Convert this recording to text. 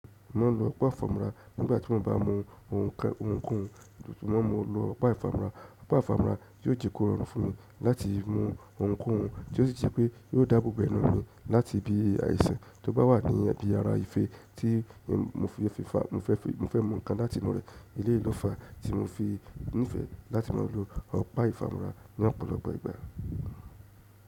Mo maá lọ ọ̀pá ìfámọra nígbà tí wọ́n bá mu ohunkóhun mọ lọ ọ̀pá ìfámọra. Ọ̀pá ìfámọra yóò jẹ́ kó rọrùn fún wọn láti mọ ohunkóhun tí ó sì jẹ́ pé yóò dáàbò bo ẹnu mi láti ibi àìsàn tó bá wà ní ibi ara ìfé tí mo fẹ́ mọ nǹkan láti inú rẹ̀ eleyii lo fa tí mo fi nífẹ̀ẹ́ láti má lọ ọ̀pá ìfámọra ní ọ̀pọ̀lọpọ̀ ìgbà.